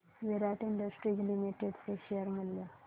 विराट industries limited चे share मूल्य